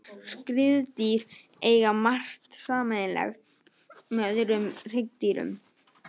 Skriðdýr eiga margt sameiginlegt með öðrum hryggdýrum.